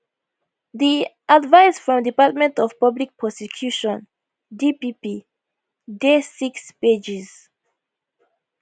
di advice from department of public prosecution dpp dey six pages